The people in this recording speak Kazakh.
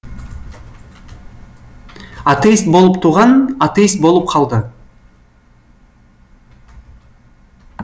атеист болып туған атеист болып қалды